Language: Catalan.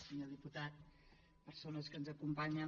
senyor diputat persones que ens acompanyen